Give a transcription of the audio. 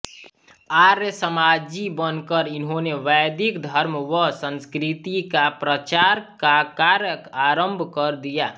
आर्यसमाजी बनकर इन्होंने वैदिक धर्म व संस्कृति का प्रचार का कार्य आरम्भ कर दिया